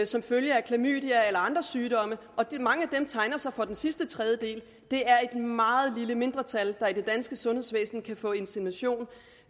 som følge af klamydia eller andre sygdomme og mange af dem tegner sig for den sidste tredjedel det er et meget lille mindretal der i det danske sundhedsvæsen kan få insemination